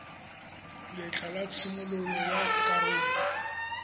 letlha la tshimololo ya karolo